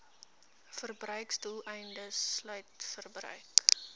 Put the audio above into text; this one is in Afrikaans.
verbruiksdoeleindes sluit verbruik